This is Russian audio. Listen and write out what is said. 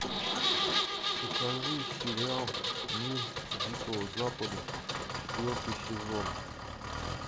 покажи сериал мир дикого запада четвертый сезон